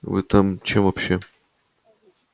вы там чем вообще